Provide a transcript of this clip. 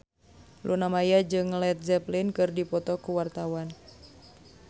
Luna Maya jeung Led Zeppelin keur dipoto ku wartawan